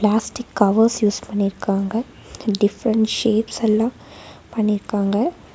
Plastic covers use பண்ணிருக்காங்க different ஷேப்ஸல்லா பண்ணிருக்காங்க.